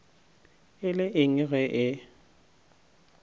e le eng ge e